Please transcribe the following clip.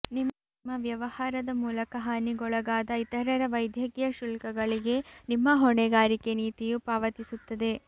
ನಿಮ್ಮ ವ್ಯವಹಾರದ ಮೂಲಕ ಹಾನಿಗೊಳಗಾದ ಇತರರ ವೈದ್ಯಕೀಯ ಶುಲ್ಕಗಳಿಗೆ ನಿಮ್ಮ ಹೊಣೆಗಾರಿಕೆ ನೀತಿಯು ಪಾವತಿಸುತ್ತದೆ